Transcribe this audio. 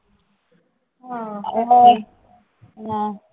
ਹਾਂ ਹਾਂ